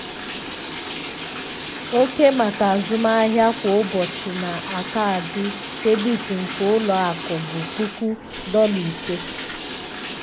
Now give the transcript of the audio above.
oke maka azụmahịa kwa ụbọchị na kaadị debit nke ụlọ akụ bụ puku dolla ise